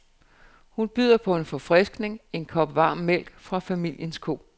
Hun byder på en forfriskning, en kop varm mælk fra familiens ko.